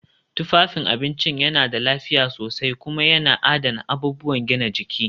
Tufafin abinci yana da lafiya sosai kuma yana adana abubuwan gina jiki